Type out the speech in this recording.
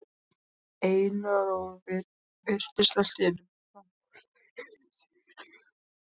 Einar og virtist allt í einu bálreiður.